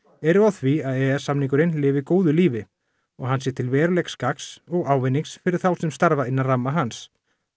eru á því að e e s samningurinn lifi góðu lífi og hann sé til verulegs gagns og ávinnings fyrir þá sem starfa innan ramma hans